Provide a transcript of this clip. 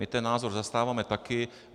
My ten názor zastáváme taky.